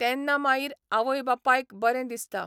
तेन्ना माईर आवय बापायक बरें दिसता.